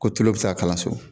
Ko tulo bɛ se ka kala so.